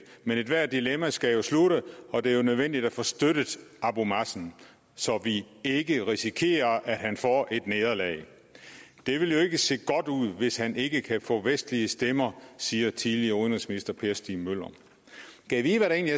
men ethvert dilemma skal jo slutte og det er jo nødvendigt at få støttet abu mazen så vi ikke risikerer at han får et nederlag det vil jo ikke se godt ud hvis han ikke kan få vestlige stemmer siger tidligere udenrigsminister per stig møller gad vide hvad der